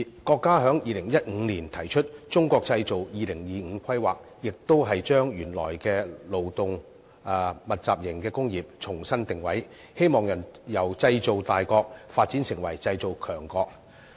國家在2015年提出《中國製造2025》的規劃，目的也是將原來的勞動密集型工業重新定位，希望由製造大國發展成為製造強國。